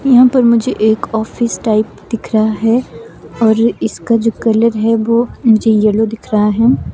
यहां पर मुझे एक ऑफिस टाइप दिख रहा है और इसका जो कलर है वो मुझे येलो दिख रहा है।